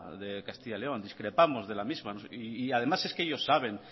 de castilla león discrepamos de la misma y además es que ellos saben